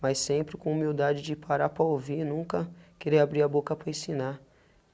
Mas sempre com humildade de parar para ouvir, nunca quer abrir a boca para ensinar.